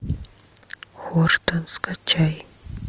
хортон скачай